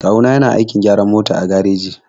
Kawu na yana aikin gyaran mota a gareji.